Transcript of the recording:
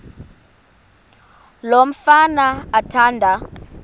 lo mfana athanda